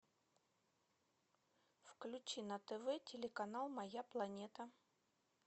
включи на тв телеканал моя планета